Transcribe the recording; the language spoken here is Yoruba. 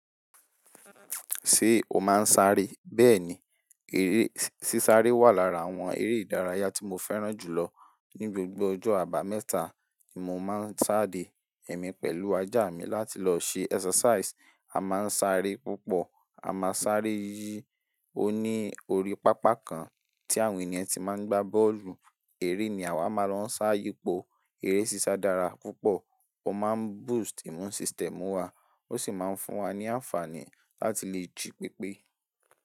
Ṣé o máa ń sáré? Bẹ́ẹ̀ni, eré sísá ré wà lára àwọn eré ìdárayá tí mo fẹ́ràn jù lọ. Ni gbogbo ọjọ́ àbámẹ́ta ni mo máa ń sáde ẹ̀mí pẹ̀lú ajá mi láti lọ ṣe exercise. A máa ń sáré púpọ̀. A máa ń sáré yí ó ní orí pápá kan tí àwọn ènìyàn ti máa ń gbá bọ́ọ̀lù. Eré ní àwa máa ń lọ sá yípo. Eré sísá dára púpọ̀, ó máa ń boost immune system wa, ó sì máa ń fún wa ní àǹfààní láti lè jí pépé.